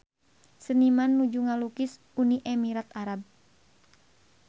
Seniman nuju ngalukis Uni Emirat Arab